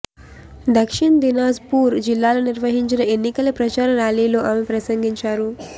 దక్షిణ్ దినాజ్పూర్ జిల్లాలో నిర్వహించిన ఎన్నికల ప్రచార ర్యాలీలో ఆమె ప్రసంగించారు